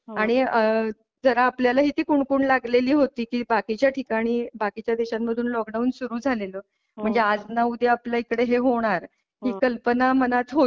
आणि जर आपल्याला ही कुणकुण लागलेली होती कि बाकीच्या ठिकाणी बाकीच्या देशांमधून लॉकडाउन सुरु झालेलं म्हणजे आज न उद्या आपल्या इकडं हे होणार हि कल्पना मनात होतीच.